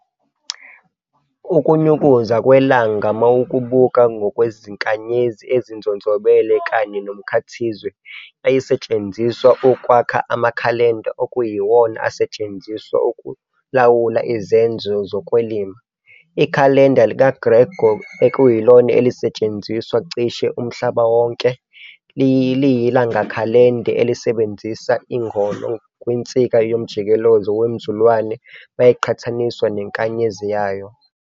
Ukunyukuza kweLanga mawukubuka ngokwezinkanyezi ezinzonzobele, kanye nomKhathizwe, yayisetshenziswa ukwakha amaKhalenda, okuyiwona ayesetshenziswa ukulawula izenzo zokwelima. Ikhalenda lika-Gregor, ekuyilona elisetshenziswa cishe umHlaba wonke, liyiLangakhalenda elisebenzisa iNgoni kwinsika yomjikezelo wemZulwane mayiqhathaniswa neNkanyezi yayo.